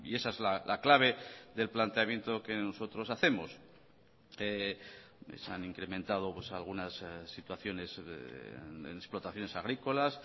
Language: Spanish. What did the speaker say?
esa es la clave del planteamiento que nosotros hacemos se han incrementado algunas situaciones en explotaciones agrícolas